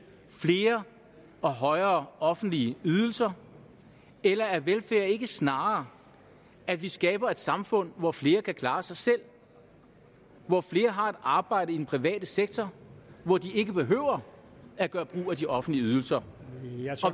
flere og højere offentlige ydelser eller er velfærd ikke snarere at vi skaber et samfund hvor flere kan klare sig selv hvor flere har et arbejde i den private sektor hvor de ikke behøver at gøre brug af de offentlige ydelser